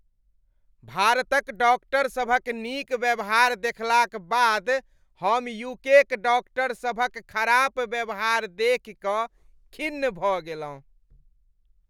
भारतक डॉक्टरसभक नीक व्यवहार देखलाक बाद हम यूकेक डॉक्टरसभक खराब व्यवहार देखि कऽ खिन्न भऽ गेलहुँ।